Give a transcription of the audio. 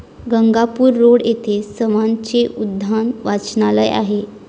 Gangapur road येथे सवनाचे 'उद्यान वाचनालय आहे.